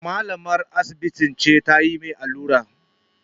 Malamar asibiti ce ta mai allura